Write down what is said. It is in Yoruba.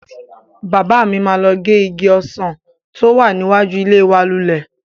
Bàbá mi máa gé igi ọsàn tí ó wà níwájú ilé wa lulẹ̀.